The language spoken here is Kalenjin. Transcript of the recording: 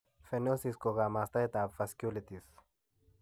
Perniosis ko kamastaab vasculitis.